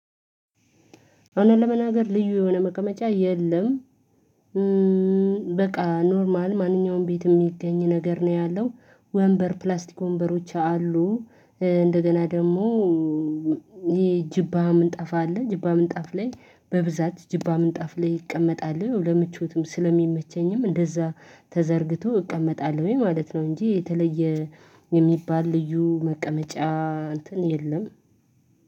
እውነት ለመናገር ልዩ የሆነ መቅመጫ የለም። በቃ ኖርማል ማንኛውም ቤት የሚገኝ ነገር ነው ያለው ወንበር ፕላስቲክ ወንበሮች አሉ። እንደገና ደግሞ። ይሄ ጅብሃም እንጠፋ አለ ጅብሃም እንጠፍ ላይ በብዛት ጅብሃም እንጠፍ ላይ ይቀመጣል ለምቾትም ስለሚመቸኝም እንደዛ ተዘርግቶ እቀመጣለሁኝ ማለት ነው። እንጂ የተለየ ልዩ መቀመጫ እንትን የለም።